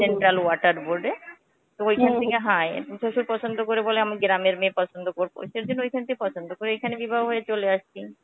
central water board এ তো ঐখানে থেকে হ্যা শ্বশুর পছন্দ করে বলে আমি গ্রামের মেয়ে পছন্দ করবো. সেইজন্যে ঐখানে থেকে পছন্দ করে এইখানে বিবাহ হয়ে চলে আসছি.